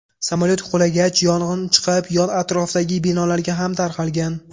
Samolyot qulagach, yong‘in chiqib, yon atrofdagi binolarga ham tarqalgan.